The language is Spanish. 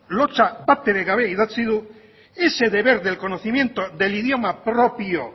lotsa batere gabe idatzi du ese deber del conocimiento del idioma propio